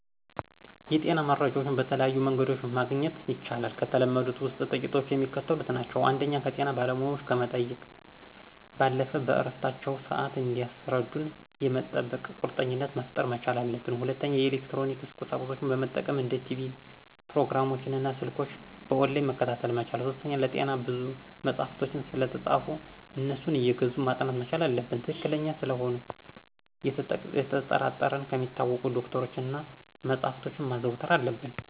የጤና መረጃዎችን በተለያዩ መንገዶችመግኘት ይቻላል። ከተለመዱት ውስጥ ጥቂቶቹ የሚከተሉት ናቸው። ፩) ከጤና ባለሙያዎች ከመጠየቅ ባለፈ በእረፍታቸው ስዓት እንዲያስረዱን የጠበቀ ቁርኝትነት መፍጠር መቻል አለብን። ፪) የኤሌክትሮኒክስ ቁሳቁሶችን መጠቀም እንደ ቲቭ ፕሮግራሞችን እና በሰልክ በኦንላይን መከታተል መቻል። ፫) ስለጤና ብዙ መጸሐፎች ስለተፃፉ አነሱን አየገዙ ማጥናት መቻል አለብን። ትክክለኛ ስለመሆኑ ነተጠራጠረን ከሚታወቁ ዶክተሮች እና መጸሐፍቶችን ማዘውተር አለብን።